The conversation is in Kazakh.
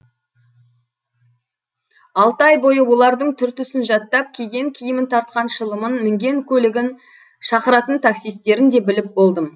алты ай бойы олардың түр түсін жаттап киген киімін тартқан шылымын мінген көлігін шақыратын таксистерін де біліп болдым